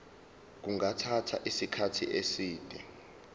kungathatha isikhathi eside